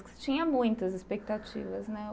Porque você tinha muitas expectativas, né?